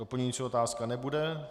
Doplňující otázka nebude.